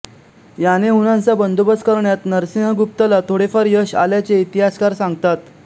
याने हूणांचा बंदोबस्त करण्यात नरसिंहगुप्त ला थोडेफार यश आल्याचे इतिहासकार सांगतात